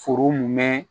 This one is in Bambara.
Foro mun bɛ